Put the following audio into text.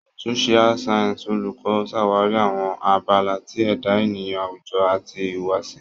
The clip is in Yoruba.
Social Sciences Oluko ṣawari awọn abala ti eda eniyan awujo ati ihuwasi.